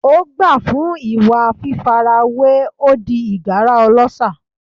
Ó gbà fún ìwà fífarawé, ó di ìgárá ọlọ́ṣà.